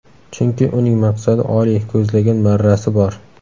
Chunki uning maqsadi oliy, ko‘zlagan marrasi bor.